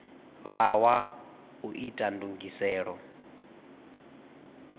vha wa u ita ndugiselo